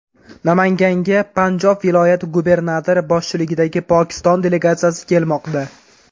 Namanganga Panjob viloyati gubernatori boshchiligidagi Pokiston delegatsiyasi kelmoqda.